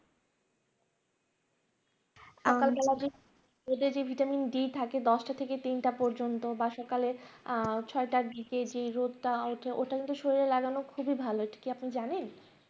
সকালবেলায় রোদের যে Vitamin d থাকে দশটা থেকে তিনটা পর্যন্ত বা সকালে ছয়টার দিকে যে রোদটা উঠে ওইটার কিন্তু শরীরে লাগানো খুবই ভালো। এটা কি আপনি জানেন